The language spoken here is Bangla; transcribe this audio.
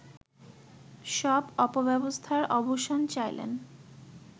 সব অপব্যবস্থার অবসান চাইলেন